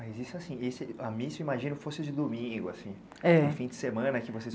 Mas isso assim, esse... a missa, imagino, fosse de domingo, assim? É. No fim de semana que vocês